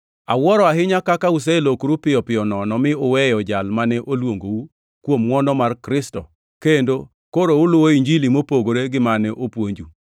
Awuoro ahinya kaka uselokoru piyo piyo nono, mi uweyo Jal mane oluongou kuom ngʼwono mar Kristo, kendo koro uluwo Injili mopogore gi mane opuonju,